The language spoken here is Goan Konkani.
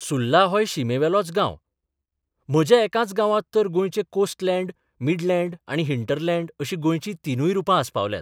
सुर्ला होय शिमेवेलोच गांव म्हज्या एकाच गांवांत तर गोंयचें कोस्टलँड, मिडलँड आनी हिंटरलँड अशी गोंयचीं तिनूय रूपां आसपावल्यांत.